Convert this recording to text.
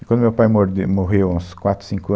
E quando o meu pai mordeu, morreu, há uns quatro, cinco anos